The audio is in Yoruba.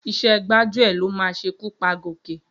Iṣẹ́ gbájúẹ̀ ló máa ṣekú pa Gòkè.